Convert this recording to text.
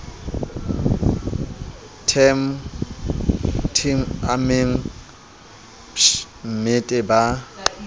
temg tpp amemg bpmmete ba